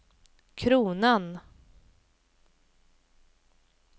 kronan